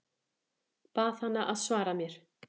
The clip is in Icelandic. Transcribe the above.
Bað hana að svara mér.